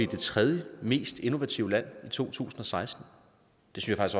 det tredje mest innovative lande i to tusind og seksten det synes